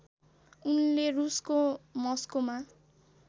उनले रुसको मस्कोमा